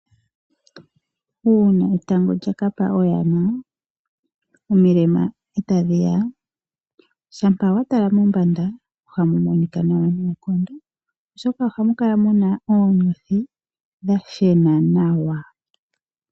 Uuna etango lya ka pa oyana, omilema eta dhi ya, shampa wa tala mombanda ohamu monika nawa noonkondo oshoka ohamu kala muna oonyothi dha shena nawa.